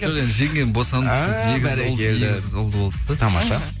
жоқ енді жеңгем босанды а бәрекелді егіз ұлды болды да тамаша